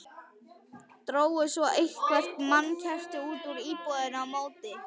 Drógu svo eitthvert mannkerti út úr íbúðinni á móti.